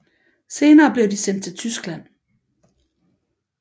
Senere blev de sendt til Tyskland